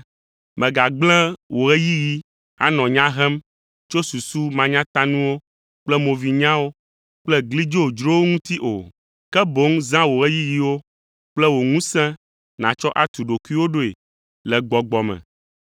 Megagblẽ wò ɣeyiɣi anɔ nya hem tso susu manyatanuwo kple movinyawo kple gli dzodzrowo ŋuti o. Ke boŋ zã wò ɣeyiɣiwo kple wò ŋusẽ nàtsɔ atu ɖokuiwò ɖoe le gbɔgbɔ me.